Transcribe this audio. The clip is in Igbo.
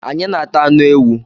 Anyị na ata anụ ewu